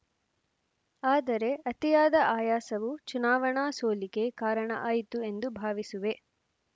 ಆದರೆ ಅತಿಯಾದ ಆಯಾಸವು ಚುನಾವಣಾ ಸೋಲಿಗೆ ಕಾರಣ ಆಯಿತು ಎಂದು ಭಾವಿಸುವೆ